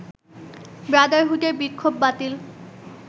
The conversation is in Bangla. ব্রাদারহুডের বিক্ষোভ বাতিল